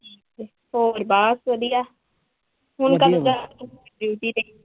ਹੋਰ ਬਸ ਵਧੀਆ ਹੁਣ ਕਦੋਂ ਜਾਣਾ ਤੁਸੀਂ duty ਤੇ?